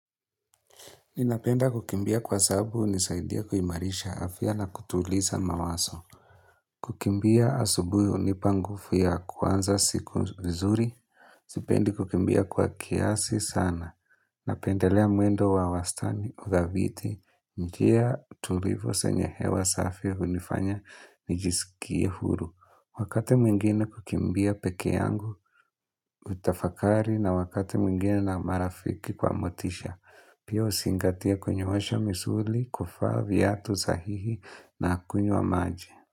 Ninapenda kukimbia kwa sababu hunisaidia kuimarisha afya na kutuliza mawazo. Kukimbia asubuhi hunipa nguvu ya kwanza siku vizuri. Sipendi kukimbia kwa kiasi sana. Napendelea mwendo wa wastani, udhabiti, njia tulivu zenye hewa safi hunifanya nijisikie huru. Wakati mwingine hukimbia peke yangu, hutafakari na wakati mwingine na marafiki kwa motisha. Pia huzingatia kunyoosha misuli kuva viatu sahihi na kunywa maji.